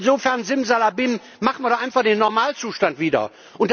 Und insofern Simsalabim stellen wir doch einfach den Normalzustand wieder her.